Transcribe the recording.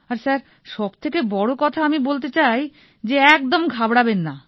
আর sir সব থেকে বড় কথা আমি বলতে চাই যে একদম ঘাবড়াবেন না